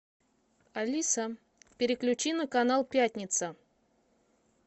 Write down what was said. алиса переключи на канал пятница